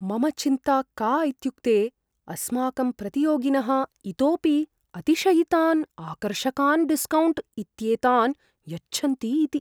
मम चिन्ता का इत्युक्ते अस्माकं प्रतियोगिनः इतोपि अतिशयितान् आकर्षकान् डिस्कौण्ट् इत्येतान् यच्छन्ति इति ।